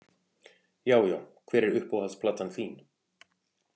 Já já Hver er uppáhalds platan þín?